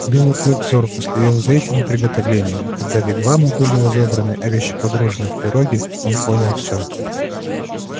белый клык зорко следил за этими приготовлениями и когда вигвамы были разобраны а вещи погружены в пироги он понял всё